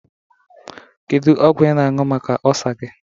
Kedu ọgwu ị na-añyu maka ọlsa gi?